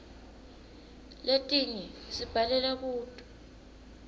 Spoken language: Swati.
letinye sibhalela kuto